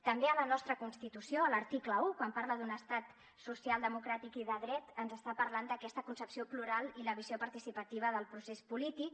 també a la nostra constitució a l’article uno quan parla d’un estat social democràtic i de dret ens està parlant d’aquesta concepció plural i la visió participativa del procés polític